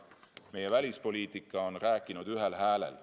Meie välispoliitika on rääkinud ühel häälel.